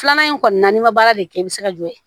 Filanan in kɔni na n'i ma baara de kɛ i bi se ka jɔ yen